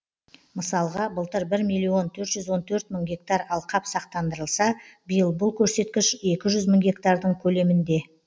мысалға былтыр бір миллион төрт жүз он төрт мың гектар алқап сақтандырылса биыл бұл көрсеткіш екі жүз мың гектардың көлемінде